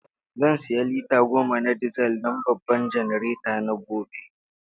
Zan sayi lita goma na dizal don babban janareta na gobe.